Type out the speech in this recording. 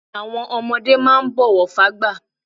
Àwọn ọmọdé máà ń bọ̀wọ̀ fágbà